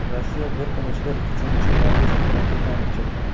Rossiya bir kun ichida uchinchi ballistik raketani uchirdi.